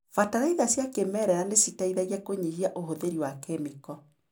Bataraitha cia kĩmerera nĩciteithagia kũnyihia ũhũthĩri wa kĩmĩko.